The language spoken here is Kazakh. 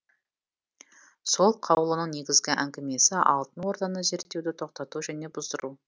сол қаулының негізгі әңгімесі алтын орданы зерттеуді тоқтату және бұздыру